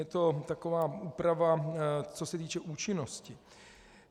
Je to taková úprava, co se týče účinnosti.